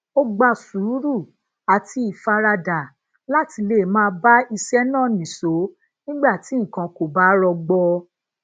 ó gba sùúrù àti ìfaradà láti lè máa bá iṣé náà nìṣó nígbà tí nǹkan kò bá rọgbọ